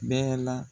Bɛɛ la